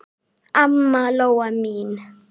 Amma Lóa mín.